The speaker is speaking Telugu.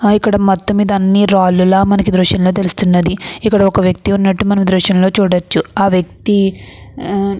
ఆ ఇక్కడ మొత్తమీద అన్ని రాళ్లులా మనకి దృశ్యంలో తెలుస్తున్నదిఇక్కడొక వ్యక్తి ఉన్నట్లు మనం ఈ దృష్యంలో చూడచ్చుఆ వ్యక్తి --